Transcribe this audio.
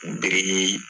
biriki